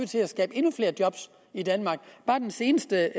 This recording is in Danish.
til at skabe endnu flere job i danmark bare den seneste